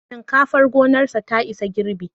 Shinkafar gonarsa ta isa girbi